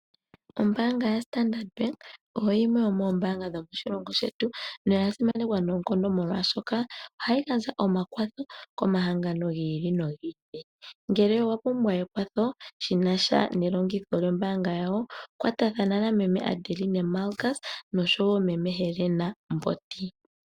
Ombaanga yaStandard Bank oyo yimwe yomoombaanga dhomoshilongo shetu, noya simanekwa noonkondo molwashoka ohayi gandja omakwatho komahangano gi ili nogi ili. Ngele owa pumbwa ekwatho shi na sha nelongitho lyombaanga yawo, kwatathana nameme Adeline Markus, nosho wo meme Helena Mbondi.